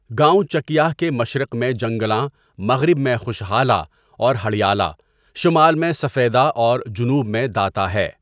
گاؤں چکیاہ کے مشرق میں جَنگلاں، مغرب میں خوشحالہ اور ہڑیالہ، شمال میں سفیدہ اور جنوب میں داتہ ہے.